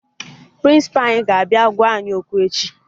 Prịnsịpa anyị ga-abịa gwa anyị okwu echi